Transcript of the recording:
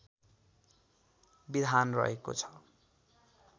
विधान रहेको छ